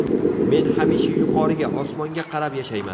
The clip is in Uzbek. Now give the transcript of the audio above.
Men hamisha yuqoriga – osmonga qarab yashayman”.